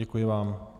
Děkuji vám.